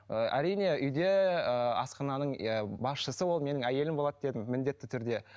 ы әрине үйде ыыы асхананың иә басшысы ол менің әйелім болады дедім міндетті түрде